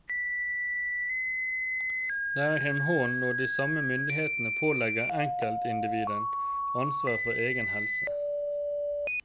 Det er et hån når de samme myndigheter pålegger enkeltindividet ansvar for egen helse.